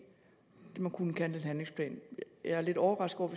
man kunne kalde en handlingsplan jeg er lidt overrasket